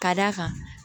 Ka d'a kan